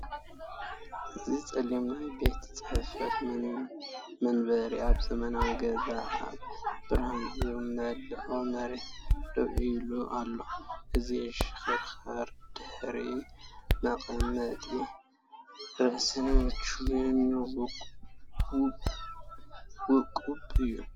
እዚ ጸሊም ናይ ቤት ጽሕፈት መንበር ኣብ ዘመናዊ ገዛ ኣብ ብርሃን ዝመልአ መሬት ደው ኢሉ ኣሎ፤ እቲ ዝሽክርከር ድሕሪትን መቐመጢ ርእስን ምቹእን ውቁብን እዩ።